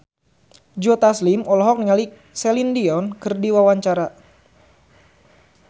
Joe Taslim olohok ningali Celine Dion keur diwawancara